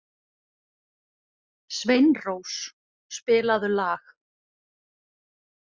Sveinrós, spilaðu lag.